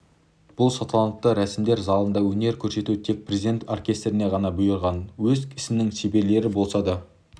бұл салтанатты рәсімдер залында өнер көрсету тек президент оркестріне ғана бұйырған өз ісінің шеберлері болса да